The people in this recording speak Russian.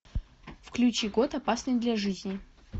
включи год опасный для жизни